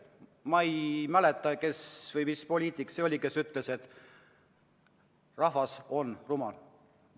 Ma ei mäleta, kes oli see poliitik, kes ütles, et rahvas on rumal.